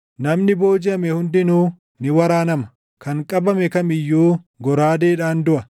Namni boojiʼame hundinuu ni waraanama; kan qabame kam iyyuu goraadeedhaan duʼa.